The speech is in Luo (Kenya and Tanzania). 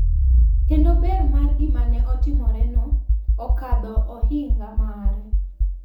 Kendo ber mar gima ne otimoreno okadho ohinga mare.